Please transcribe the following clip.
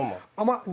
Mənim üçün olmaz.